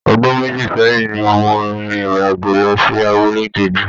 Ọdún méjì sẹ́yìn ni mo rin ìrìn àjò lọ sí abúlé kejì